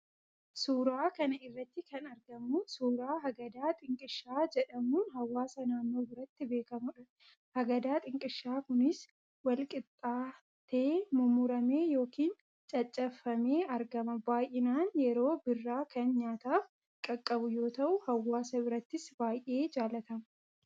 Suuraa kana irratti kan argamu suuraa hagadaa xinqishaa jedhamuun hawaasa naannoo biratti beekamudha. Hagadaa xinqishaa kunis, walqixxaatee mummuramee yookiin caccabfamee argama. Baay'inaan yeroo birraa kan nyaataaf qaqqabu yoo ta'u, hawaasa birattis baay'ee jaallatama.